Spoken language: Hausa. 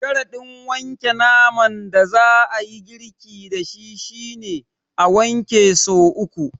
Sharaɗin wanke naman da za a yi girki da shi shi ne, a wanke so uku.